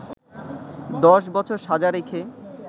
১০ বছর সাজা রেখে